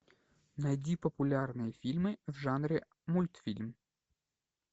найди популярные фильмы в жанре мультфильм